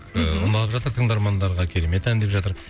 ыыы ұнап жатыр тыңдармандарға керемет ән деп жатыр